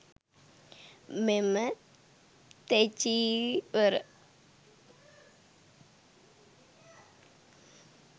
මෙම තෙචීවර